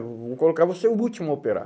Vou vou colocar você o último a operar.